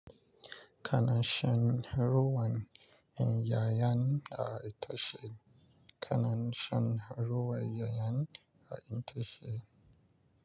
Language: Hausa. Kana shan ruwan 'ya'yan itace? Kana shan ruwan 'yan yayan a inta ce?